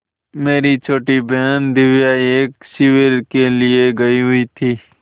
मेरी छोटी बहन दिव्या एक शिविर के लिए गयी हुई थी